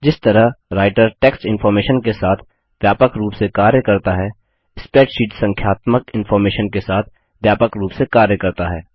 जिस तरह writer text information के साथ व्यापक रूप से कार्य करता है स्प्रैडशीट संख्यात्मक इंफॉर्मेशन के साथ व्यापक रूप से कार्य करता है